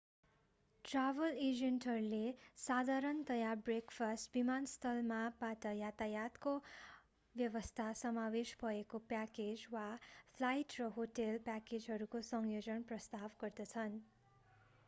Travel एजेन्टहरूले साधारणतया breakfast विमानस्थल मा/बाट यातायातको व्यवस्था समावेश भएको प्याकेज वा फ्लाइट र होटेल प्याकेजहरूको संयोजन प्रस्ताव गर्दछन्।